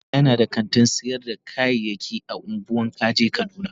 Mahaifina yana da kantin sayar da kayayyaki a ungwan kaje kaduna.